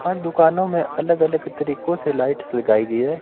और दुकानों में अलग अलग तरीको से लाइट्स लगाई गई हैं।